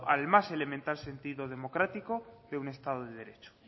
al más elemental sentido democrático de un estado de derecho